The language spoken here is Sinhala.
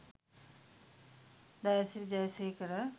dayasiri jayasekara